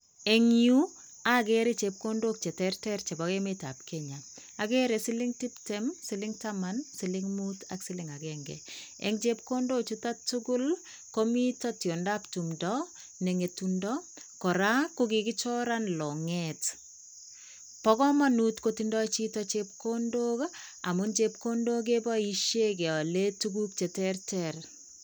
Eng yu, akere chepkondok cheterter chepo emetap Kenya. akere siling tiptem, siling taman, siling mut ak siling akenke. Eng chepkondochuto tukul ko mito tiondap tumdo ne ng'etundo, kora kokikichoran long'et. Bo komanut kotindoi chito chepkondok amun chepkondok keboishe keale tuguk cheterter.